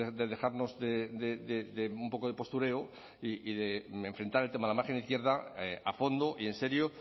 de dejarnos un poco de postureo y de enfrentar el tema de la margen izquierda a fondo y en serio